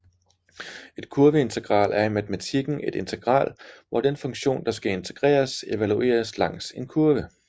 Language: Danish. Et kurveintegral er i matematiken et integral hvor den funktion der skal integreres evalueres langs en kurve